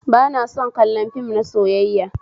Ba na son kallon fim na soyayya